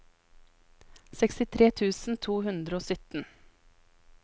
sekstitre tusen to hundre og sytten